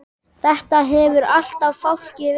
Þetta hefur alltaf fálki verið.